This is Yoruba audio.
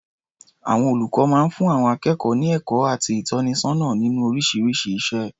Àwọn olùkọ máa ń fún àwọn akékọ̀ọ́ ní ẹ̀kọ́ àti ìtọ́nisọ́nà nínú oríṣiríṣi iṣẹ́.